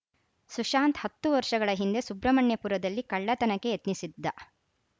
ಸುಶಾಂತ್‌ ಹತ್ತು ವರ್ಷಗಳ ಹಿಂದೆ ಸುಬ್ರಹ್ಮಣ್ಯಪುರದಲ್ಲಿ ಕಳ್ಳತನಕ್ಕೆ ಯತ್ನಿಸಿದ್ದ